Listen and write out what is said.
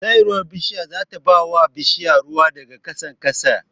Saiwar bishiya zata bawa bishiya ruwa daga ƙasan ƙasa